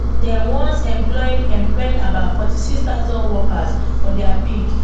dem once employing employing about fourty six thousand workers for dia peak